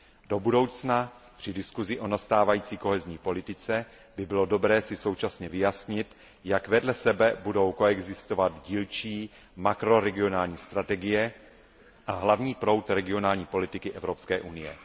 Do budoucna při diskusi o nastávající kohezní politice by bylo dobré si současně vyjasnit, jak vedle sebe budou koexistovat dílčí makroregionální strategie a hlavní proud regionální politiky Evropské unie.